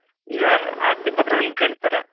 ಈಗ ಆಸ್ತಿ ಪತ್ರಗಳನ್ನ ಕೇಳ್ತಾರೆ.